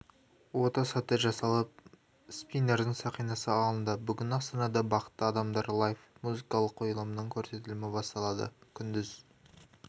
ота сәтті жасалып спиннердің сақинасы алынды бүгін астанада бақытты адамдар лайф музыкалық қойылымының көрсетілімі басталды күндіз